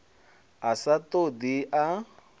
a sa ṱo ḓi a